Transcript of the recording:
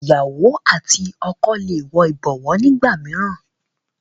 ìyàwó àti ọkọ lẹ wò ibọwọ nigbamiran